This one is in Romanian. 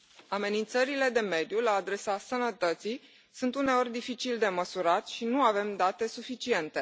Amenințările de mediu la adresa sănătății sunt uneori dificil de măsurat și nu avem date suficiente.